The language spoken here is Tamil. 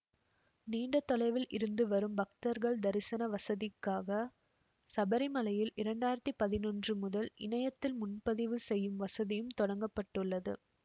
நீண்ட தொலைவில் இருந்து வரும் பக்தர்கள் தரிசன வசதிக்காக சபரிமலையில் இரண்டாயிரத்தி பதினொன்று முதல் இணையத்தில் முன்பதிவு செய்யும் வசதியும் தொடங்க பட்டுள்ளது